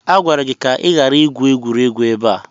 Agwara gị ka ị ghara igwu egwuregwu ebe a!